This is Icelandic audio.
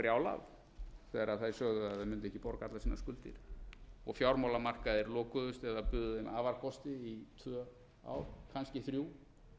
brjálað þegar þær sögðu að þær mundu ekki borga allar sínar skuldir og fjármálamarkaðir lokuðust eða buðu þeim í tvö ár kannski þrjú